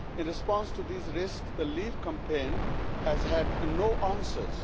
In response to these risks the Leave campaign has had no answers.